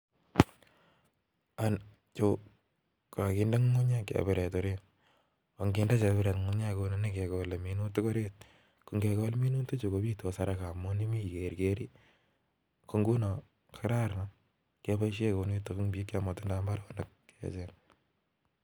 Chuu kokakinde ngungunyek chebiret orit konginde chebiret ngungunyek kounii kokaikai amun kigerger minutik komnyeeee